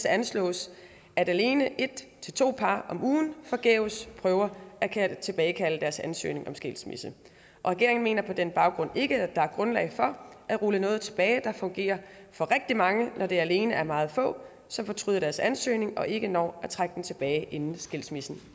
anslås at alene en til to par om ugen forgæves prøver at tilbagekalde deres ansøgning om skilsmisse regeringen mener på den baggrund ikke at der er grundlag for at rulle noget tilbage der fungerer for rigtig mange når det alene er meget få som fortryder deres ansøgning og ikke når at trække den tilbage inden skilsmissen